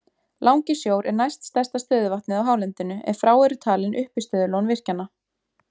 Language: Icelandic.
Langisjór er næst stærsta stöðuvatnið á hálendinu ef frá eru talin uppistöðulón virkjanna.